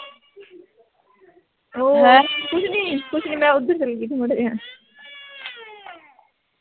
ਕੁੱਛ ਨੀ ਕੁੱਛ ਨੀ ਮੈਂ ਓਦਰ ਚਲ ਗਈ ਥੀ ਮਾੜਾ ਜੇਹਾ